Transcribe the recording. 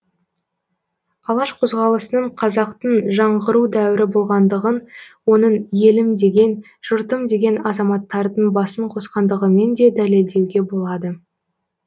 алаш қозғалысының қазақтың жаңғыру дәуірі болғандығын оның елім деген жұртым деген азаматтардың басын қосқандығымен де дәлелдеуге болады